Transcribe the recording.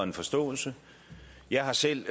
og en forståelse jeg har selv